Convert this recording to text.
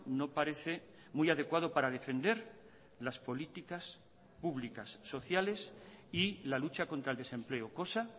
no parece muy adecuado para defender las políticas públicas sociales y la lucha contra el desempleo cosa